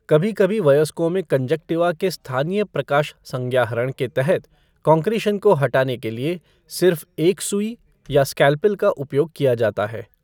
कभी कभी वयस्कों में कंजाक्तिवा के स्थानीय प्रकाश संज्ञाहरण के तहत कंकरीशन को हटाने के लिए सिर्फ एक सुई या स्केलपेल का उपयोग किया जाता है।